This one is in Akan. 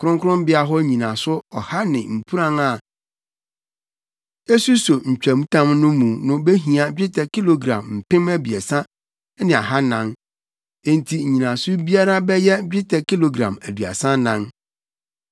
Kronkronbea hɔ nnyinaso ɔha ne mpuran a esuso ntwamtam no mu no behia dwetɛ kilogram mpem abiɛsa ne ahannan Enti nnyinaso biara bɛyɛ dwetɛ kilogram aduasa anan.